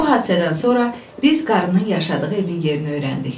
Bu hadisədən sonra biz qarının yaşadığı evin yerini öyrəndik.